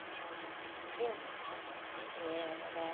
Entendeu? É, era...